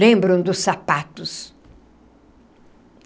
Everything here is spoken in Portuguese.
Lembram dos sapatos.